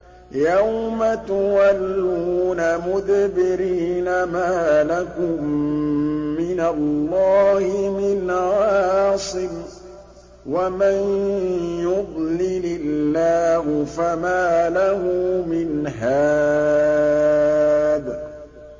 يَوْمَ تُوَلُّونَ مُدْبِرِينَ مَا لَكُم مِّنَ اللَّهِ مِنْ عَاصِمٍ ۗ وَمَن يُضْلِلِ اللَّهُ فَمَا لَهُ مِنْ هَادٍ